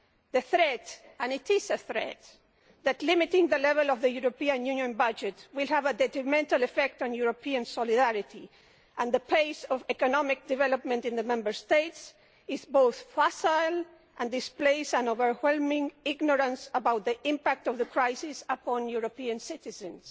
The threat and it is a threat that limiting the level of the European Union budget will have a detrimental effect on European solidarity and the pace of economic development in the Member States is both facile and displays an overwhelming ignorance of the impact of the crisis upon European citizens.